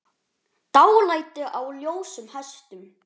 Dálæti á ljósum hestum